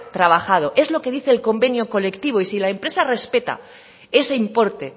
trabajado es lo que dice el convenio colectivo y si la empresa respeta ese importe